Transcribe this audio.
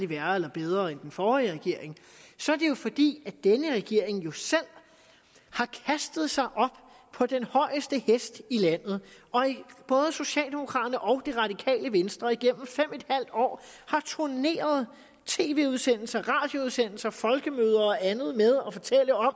værre eller bedre end den forrige regerings så er det jo fordi denne regering jo selv har kastet sig op på den højeste hest i landet og både socialdemokraterne og det radikale venstre har igennem fem en halv år turneret i tv udsendelser radioudsendelser på folkemøder og andet og fortalt om at